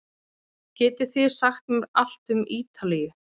Getið þið sagt mér allt um Ítalíu?